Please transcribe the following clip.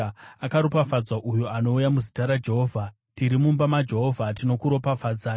Akaropafadzwa uyo anouya muzita raJehovha. Tiri mumba maJehovha tinokuropafadzai.